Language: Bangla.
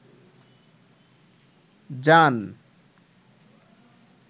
জান